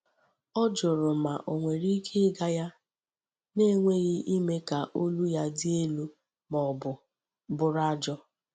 Ọ jụrụ ma ò nwere ike ịga ya, na-enweghị ime ka olu ya dị elu ma ọ bụ bụrụ ajọ.